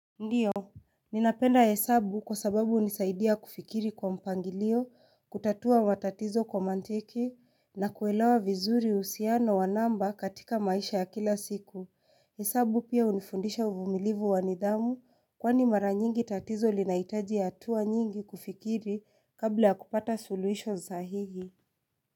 Ndiyo, ninapenda hesabu kwa sababu unisaidia kufikiri kwa mpangilio, kutatua matatizo kwa manteki, na kuelewa vizuri husiano wa namba katika maisha ya kila siku. Hesabu pia hunifundisha uvumilivu wa nidhamu, kwani mara nyingi tatizo linahitaji hatua nyingi kufikiri kabla ya kupata suluhisho sahihi.